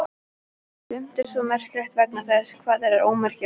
Sumt er svo merkilegt vegna þess hvað það er ómerkilegt.